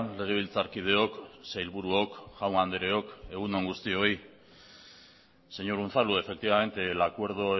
legebiltzarkideok sailburuok jaun andreok egun on guztioi señor unzalu efectivamente el acuerdo